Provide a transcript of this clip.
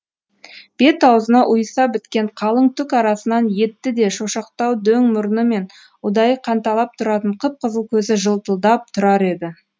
бет аузына ұйыса біткен қалың түк арасынан етті де шошақтау дөң мұрны мен ұдайы қанталап тұратын қып қызыл көзі жылтылдап тұрар еді